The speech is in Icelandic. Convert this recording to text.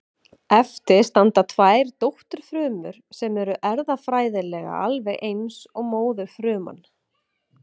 Eftir standa tvær dótturfrumur sem eru erfðafræðilega alveg eins og móðurfruman.